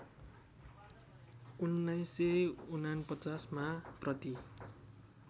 १९४९ मा प्रति